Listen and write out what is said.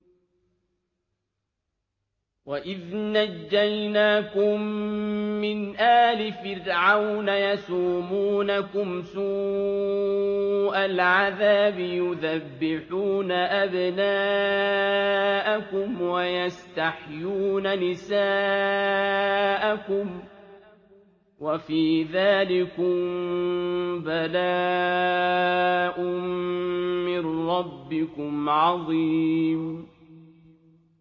وَإِذْ نَجَّيْنَاكُم مِّنْ آلِ فِرْعَوْنَ يَسُومُونَكُمْ سُوءَ الْعَذَابِ يُذَبِّحُونَ أَبْنَاءَكُمْ وَيَسْتَحْيُونَ نِسَاءَكُمْ ۚ وَفِي ذَٰلِكُم بَلَاءٌ مِّن رَّبِّكُمْ عَظِيمٌ